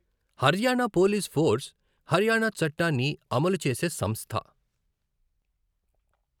Haryana police force Haryana చట్టాన్ని అమలు చేసే సంస్థ.